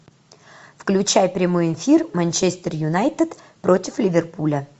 включай прямой эфир манчестер юнайтед против ливерпуля